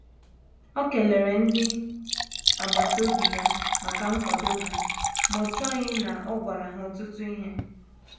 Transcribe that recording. O kelere ndi agbata obi ya maka nkwado ha, ma o chọghị na o gwara ha ọtụtụ ihe.